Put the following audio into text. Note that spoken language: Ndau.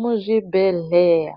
Muzvibhehleya